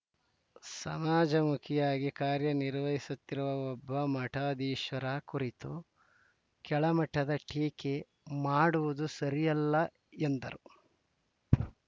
ಸಮಾಜ ಮುಖಿಯಾಗಿ ಕಾರ್ಯನಿರ್ವಹಿಸುತ್ತಿರುವ ಒಬ್ಬ ಮಠಾಧೀಶರ ಕುರಿತು ಕೆಳಮಟ್ಟದ ಟೀಕೆ ಮಾಡುವುದು ಸರಿಯಲ್ಲ ಎಂದರು